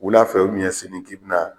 Wula fɛ ubɛn sini k'i bi na